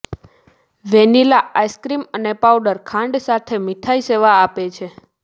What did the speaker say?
vanilla ice cream અને powder ખાંડ સાથે મીઠાઈ સેવા આપે છે